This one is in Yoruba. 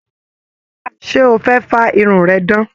Ṣe o fẹ fa irun rẹ dan?